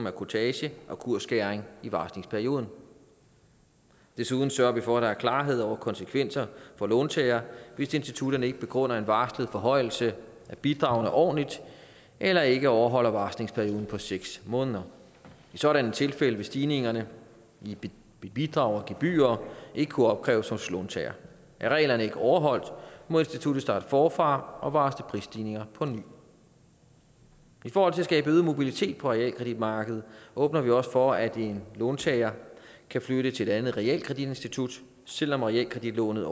af kurtage og kursskæring i varslingsperioden desuden sørger vi for at der er klarhed over konsekvenser for låntagere hvis institutterne ikke begrunder en varslet forhøjelse af bidragene ordentligt eller ikke overholder varslingsperioden på seks måneder i sådanne tilfælde vil stigningerne i bidrag og gebyrer ikke kunne opkræves hos låntagerne er reglerne ikke overholdt må instituttet starte forfra og varsle prisstigninger på ny for at skabe øget mobilitet på realkreditmarkedet åbner vi også for at låntagere kan flytte til et andet realkreditinstitut selv om realkreditlånet